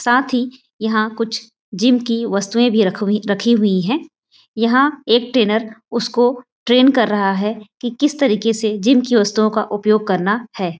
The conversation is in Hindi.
साथ ही यहाँ कुछ जिम की वस्तुएँ भी रख हुई रखी हुई हैं यहाँ एक ट्रेनर उसको ट्रैन कर रहा हैं की किस तरीके से जिम की वस्तुओं का उपयोग करना हैं।